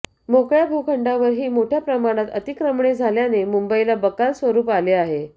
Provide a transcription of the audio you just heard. मोकळ्या भूखडांवरही मोठया प्रमाणात अतिक्रमणे झाल्याने मुंबईला बकाल स्वरूप आले आहे